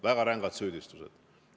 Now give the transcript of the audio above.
Väga rängad süüdistused.